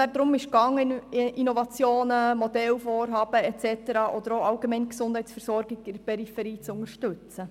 Damit wollte man Innovationen, Modellvorhaben und so weiter oder allgemein die Gesundheitsversorgung in der Peripherie unterstützen.